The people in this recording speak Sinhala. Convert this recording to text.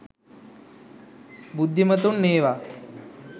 බුද්ධිමතුන් ඒවා